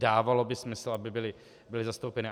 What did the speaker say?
Dávalo by smysl, aby byly zastoupeny.